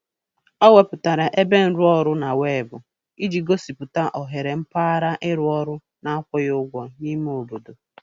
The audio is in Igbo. O wepụtara ebe nrụọrụ na weebụ iji gosipụta ohere mpaghara ịrụ ọrụ na-akwụghị ụgwọ n'ime obodo.